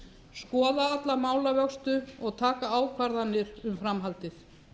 skoða alla málavöxtu og taka ákvarðanir um framhaldið